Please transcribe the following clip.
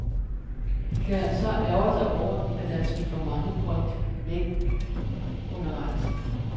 De kan så ærgre sig over, at der er smidt for mange point væk undervejs.